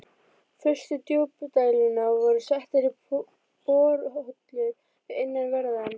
Fyrstu djúpdælurnar voru settar í borholur við innanverðan